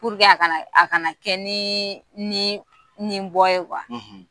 a kana a kana kɛ ni ni ni bɔ ye